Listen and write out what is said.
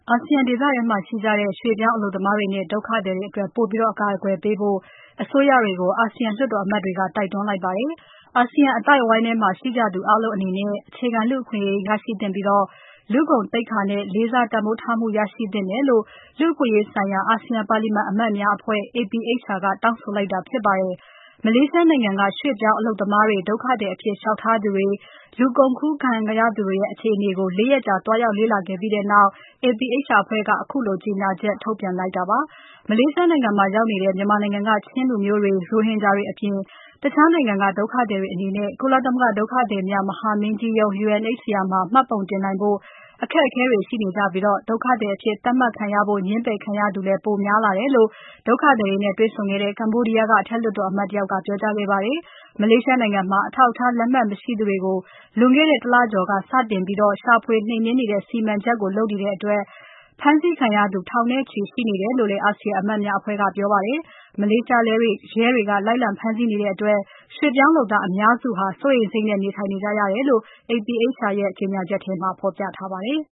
အာဆီယံဒေသထဲမှာရှိကြတဲ့ ရွှေ့ပြောင်းအလုပ်သမားတွေနဲ့ ဒုက္ခသည်တွေအတွက် ပိုပြီးအကာအကွယ်ပေးဖို့ အစိုးရတွေကို အာဆီယံလွှတ်တော်အမတ်တွေက တိုက်တွန်းလိုက်ပါတယ်။ အာဆီယံအသိုက်အဝန်းထဲမှာရှိကြသူအားလုံးအနေနဲ့ အခြေခံလူ့အခွင့်အရေးရရှိသင့်ပြီး လူ့ဂုဏ်သိက္ခာနဲ့ လေးစားတန်ဖိုးထားမှု ရရှိသင့်တယ်လို့ လူ့အခွင့်အရေးဆိုင်ရာ အာဆီယံပါလီမန်အမတ်များအဖွဲ့ APHR ကတောင်းဆိုလိုက်တာ ဖြစ်ပါတယ်။ မလေးရှားနိုင်ငံက ရွှေ့ပြောင်းအလုပ်သမားတွေ၊ ဒုက္ခသည်အဖြစ်လျှောက်ထားသူတွေ။ လူကုန်ကူးခံရသူတွရဲ့ အခြေအနေကို ၄ ရက်ကြာ သွားရောက် လေ့လာခဲ့ပြီးနောက် APHR အဖွဲ့က ခုလိုကြေညာချက်ထုတ်ပြန်ခဲ့တာဖြစ်ပါတယ်။ မလေးရှားနိုင်ငံမှာရောက်နေတဲ့ မြန်မာနိုင်ငံက ချင်းလူမျိုးတွေ၊ ရိုဟင်ဂျာတွေအပြင် တခြားနိုင်ငံက ဒုက္ခသည်အနေနဲ့ ကုလသမဂ္ဂဒုက္ခသည်များ မဟာမင်းကြီးရုံး UNHCR မှာ မှတ်ပုံတင်နိုင်ဖို့ အခက်အခက်တွေရှိနေကြပြီး ဒုက္ခသည်အဖြစ် သတ်မှတ်ခံရဖို့ ငြင်းပယ်ခံရသူ ပိုများလားတယ်လို့ ဒုက္ခသည်တွေနဲ့ တွေ့ဆုံခဲ့တဲ့ ကမ္ဘောဒီယားနိုင်ငံက အထက်လွှတ်တော်အမတ် Seng Mardi ကပြောကြားခဲ့ပါတယ်။ မလေးရှားနိုင်ငံမှာ အထောက်အထားလက်မှတ် မရှိသူတွေကို လွန်ခဲ့တဲ့ ၁ လကျော်က စပြီး ရှာဖွေ နှိမ်နှင်းနေတဲ့စီမံချက်ကို လုပ်နေတဲ့အတွက် ဖမ်းဆီးခံရသူ ထောင်နဲ့ချီရှိနေတယ်လို့လည်း အာဆီယံအမတ်များအဖွဲ့ကပြောပါတယ်။ မလေးရှားရဲတွေက လိုက်လံဖမ်းဆီးနေတဲ့အတွက် ရွှေ့ပြောင်းလုပ်သားအများစုဟာ စိုးရိမ်စိတ်နဲ့နေထိုင်နေကြရတယ်လို့ APHR ရဲ့ကြေညာချက်ထဲမှာ ဖော်ပြထားပါတယ်။